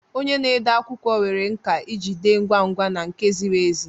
Onye na-ede akwụkwọ nwere nkà iji dee ngwa ngwa na nke ziri ezi